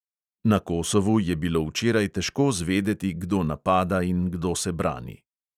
Na kosovu je bilo včeraj težko zvedeti, kdo napada in kdo se brani.